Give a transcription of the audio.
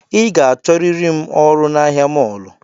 I ga achọriri ọrụ na ahịa mọlụ